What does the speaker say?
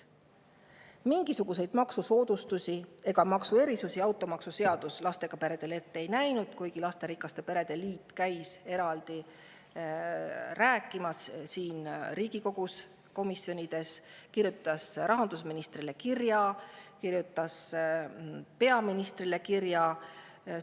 Mingisuguseid maksusoodustusi ega maksuerisusi lastega peredele automaksuseaduses ette ei nähtud, kuigi lasterikaste perede liit käis siin Riigikogu komisjonides sellest eraldi rääkimas, kirjutas rahandusministrile kirja, kirjutas peaministrile kirja.